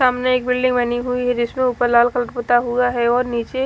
सामने एक बिल्डिंग बनी हुई है जिसमे ऊपर लाल कलर पूता हुआ है और नीचे--